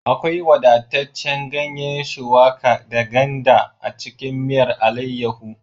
Akwai wadataccen ganye shuwaka da ganda a cikin miyar alaiyahu